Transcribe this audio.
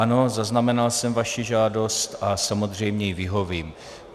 Ano, zaznamenal jsem vaši žádost a samozřejmě jí vyhovím.